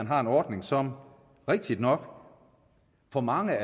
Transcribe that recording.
har en ordning som rigtignok for mange